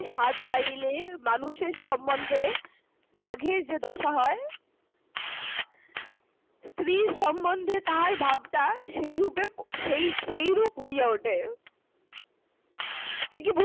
স্বাদ পাইলে মানুষের সম্মন্ধে বাঘের যে দশা হয়, স্ত্রীর সম্মন্ধে তাহার ভাবনা, সেই রূপে~ সেই~ সেই রূপ হইয়া ওঠে।